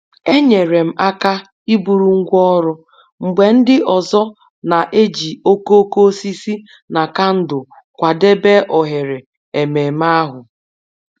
Enyere m aka iburu ngwá ọrụ mgbe ndị ọzọ na-eji okooko osisi na kandụl kwadebe oghere ememe ahụ